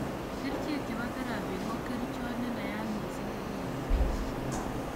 Kerichek chebo therapy ko kerichot nenayat missing nekinyoen stroke